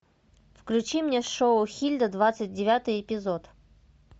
включи мне шоу хильда двадцать девятый эпизод